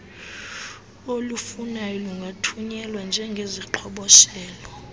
olufunwayo lungathunyelwa njengeziqhoboshelo